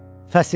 Fəsil.